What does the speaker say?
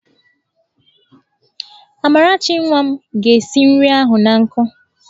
Amarachi nwa m ga-esi nri ahụ an nkụ.